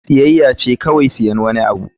Siyayya ce kawai siyan wani abu.